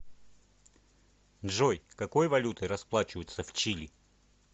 джой какой валютой расплачиваются в чили